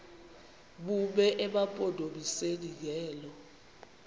bume emampondomiseni ngelo